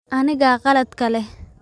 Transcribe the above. Anigaa qaladka leh.